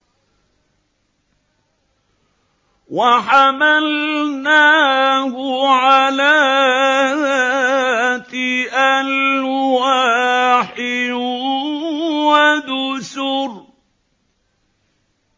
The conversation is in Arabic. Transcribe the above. وَحَمَلْنَاهُ عَلَىٰ ذَاتِ أَلْوَاحٍ وَدُسُرٍ